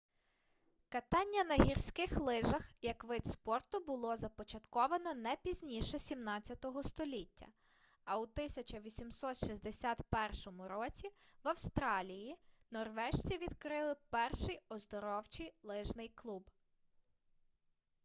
катання на гірських лижах як вид спорту було започатковано не пізніше 17 століття а у 1861 році в австралії норвежці відкрили перший оздоровчий лижний клуб